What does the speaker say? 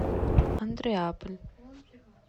андреаполь